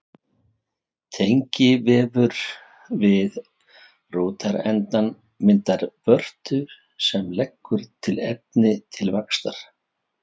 Tengivefur við rótarendann myndar vörtu sem leggur til efni til vaxtar.